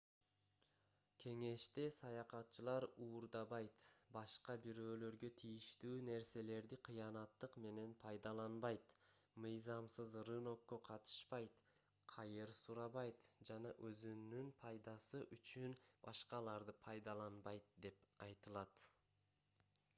кеңеште саякатчылар уурдабайт башка бирөөлөргө тийиштүү нерселерди кыянаттык менен пайдаланбайт мыйзамсыз рынокко катышпайт кайыр сурабайт же өзүнүн пайдасы үчүн башкаларды пайдаланбайт деп айтылат